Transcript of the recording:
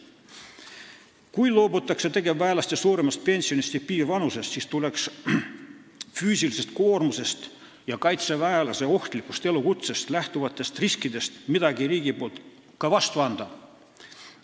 Kui loobutakse tegevväelaste suuremast pensionist ja piirvanusest, siis tuleks riigil füüsilisest koormusest ja kaitseväelase ohtlikust elukutsest lähtuvaid riske arvestades midagi ka vastu anda.